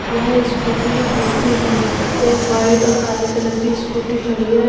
यहां स्कूटी बिकती है एक वाइट और काले कलर कि स्कूटी खड़ी है।